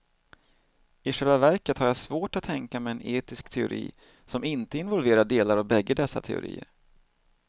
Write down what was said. I själva verket har jag svårt att tänka mig en etisk teori som inte involverar delar av bägge dessa teorier.